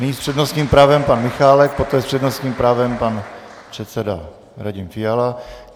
Nyní s přednostním právem pan Michálek, poté s přednostním právem pan předseda Radim Fiala.